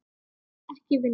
Ekki vinna.